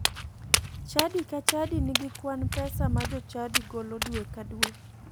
Chadi ka chadi nigi kwan pesa ma jochadi golo dwe ka dwe.